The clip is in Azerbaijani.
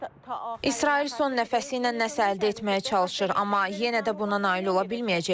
İsrail son nəfəsi ilə nəsə əldə etməyə çalışır, amma yenə də buna nail ola bilməyəcəklər.